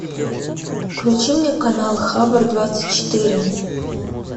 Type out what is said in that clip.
включи мне канал хабр двадцать четыре